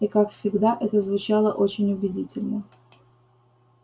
и как всегда это звучало очень убедительно